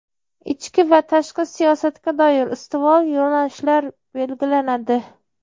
ichki va tashqi siyosatga doir ustuvor yo‘nalishlar belgilanadi.